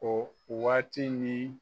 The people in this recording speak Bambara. Ko o waati ni